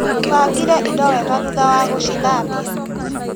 Bangire indo wega thutha wa gũcithambia.